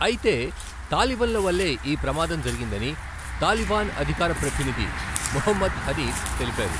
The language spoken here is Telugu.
అయితే, తాలిబన్ల వల్లే ఈ ప్రమాదం జరిగిందని తాలిబాన్ అధికార ప్రతినిధి ముహమ్మద్ హనీఫ్ తెలిపారు.